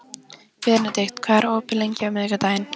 Benedikt, hvað er opið lengi á miðvikudaginn?